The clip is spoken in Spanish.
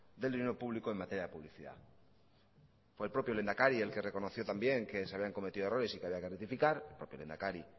del dinero público en materia de publicidad por el propio lehendakari el que reconoció también que se habían cometido errores y que había que rectificar por el lehendakari